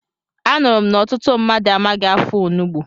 Anụrụ m na ọtụtụ mmadụ amaghị afọ onugbu.